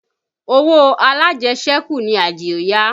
Owó alájẹsẹ́kù ni Adio yá